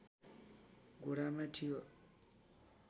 घोडामा थियो